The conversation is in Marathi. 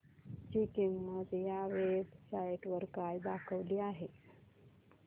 ची किंमत या वेब साइट वर काय दाखवली आहे